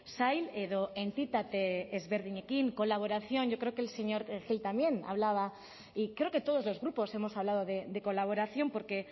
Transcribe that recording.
sail edo entitate ezberdinekin colaboración yo creo que el señor gil también hablaba y creo que todos los grupos hemos hablado de colaboración porque